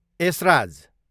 Esraj